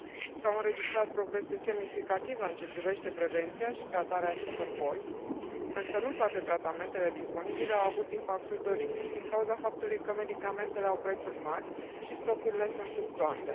S au înregistrat progrese semnificative în ce privește prevenția și tratarea acestor boli, însă nu toate tratamentele disponibile au avut impactul dorit, din cauza faptului că medicamentele au prețuri mari și stocurile sunt fluctuante.